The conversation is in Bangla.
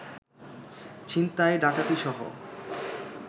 ছিনতাই, ডাকাতিসহ